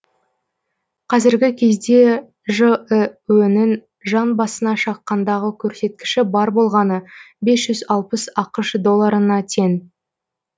қазіргі кезде жіө нің жан басына шаққандағы көрсеткіші бар болғаны бес жүз алпыс ақш долларына тең